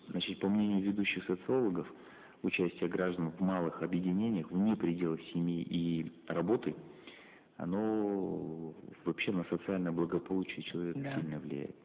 значит по мнению ведущих социологов участие граждан в малых объединениях вне пределов семьи и работы оно вообще на социальное благополучие человека сильно влияет